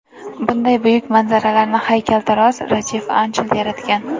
Bunday buyuk manzaralarni haykaltarosh Rajiv Anchal yaratgan.